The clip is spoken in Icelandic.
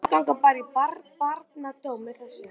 Og menn ganga bara í barndóm með þessu?